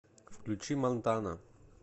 включи мантана